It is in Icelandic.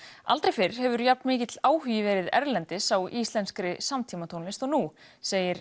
aldrei fyrr hefur jafnmikill áhugi verið erlendis á íslenskri samtímatónlist og nú segir